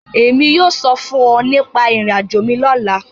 Èmi yóò sọ̀ fun ọ̀ nípa irò-àjò mi lọla.